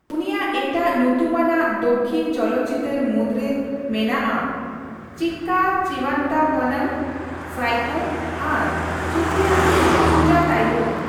ᱩᱱᱤᱭᱟᱜ ᱮᱴᱟᱜ ᱧᱩᱛᱩᱢᱟᱱᱟᱜ ᱫᱚᱠᱷᱤᱱ ᱪᱚᱞᱚᱛᱪᱤᱛᱟᱹᱨ ᱢᱩᱫᱨᱮ ᱢᱟᱱᱟᱜᱼᱟ ᱪᱤᱠᱠᱟ ᱪᱤᱵᱷᱟᱱᱛᱷᱟ ᱵᱷᱟᱱᱟᱢ, ᱥᱟᱭᱠᱳ ᱟᱨ ᱥᱩᱯᱷᱤᱭᱟᱢ ᱥᱩᱡᱟᱛᱟᱤᱭᱩᱢ ᱾